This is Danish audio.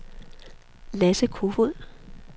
Lasse Kofod